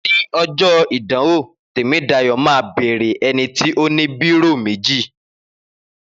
Ni ọjọ́ ìdánwò Tèmídayọ̀ máa bèèrè ẹnití ó ní bírò méjì